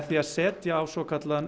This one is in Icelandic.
að setja á svokallaðan